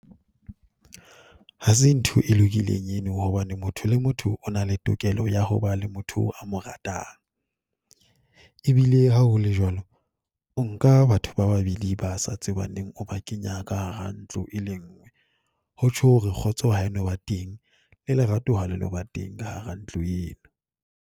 Ha se ntho e lokileng eno hobane motho le motho o na le tokelo ya ho ba le motho a mo ratang. E bile ha ho le jwalo, o nka batho ba babedi ba sa tsebaneng, o ba kenya ka hara ntlo e le nngwe. Ho tjho hore kgotso ha e no ba teng, le lerato ha le no ba teng ka hara ntlo eo.